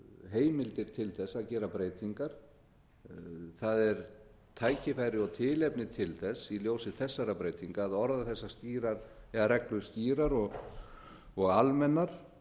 heimildir til þess að gera breytingar það er tækifæri og tilefni til þess í ljósi þessara breytinga að orða þessar reglur skýrar og almennar